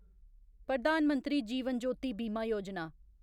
प्रधान मंत्री जीवन ज्योति बीमा योजना